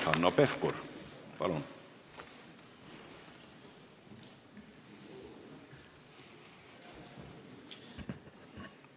Hanno Pevkur, palun!